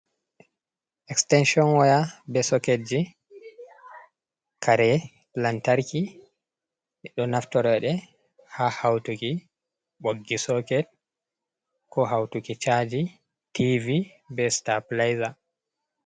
Esteecon waya be soketji, kare lantarki, ɓe ɗo naftoro ɗe, haa hawtuki ɓoggi soket, ko hawtuki caaji, tiivi, be sitapulayja.